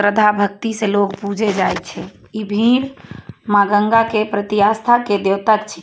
श्रद्धा भक्ति से लोग पूजे जाय छै इ भीड़ माँ गंगा के प्रति आस्था के --